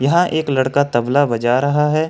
यहां एक लड़का तबला बजा रहा है।